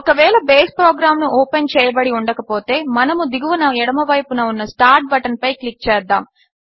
ఒకవేళ base program open చేయబడి ఉండకపోతే మనము దిగువన ఎడమవైపు ఉన్న స్టార్ట్ బటన్పై క్లిక్ చేద్దాము